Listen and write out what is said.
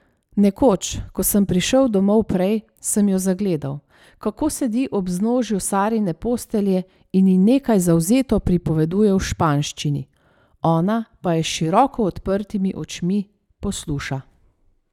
Nekoč, ko sem prišel domov prej, sem jo zagledal, kako sedi ob vznožju Sarine postelje in ji nekaj zavzeto pripoveduje v španščini, ona pa jo s široko odprtimi očmi posluša.